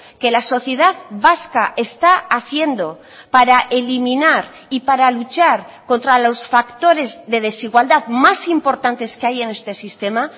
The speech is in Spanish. que la sociedad vasca está haciendo para eliminar y para luchar contra los factores de desigualdad más importantes que hay en este sistema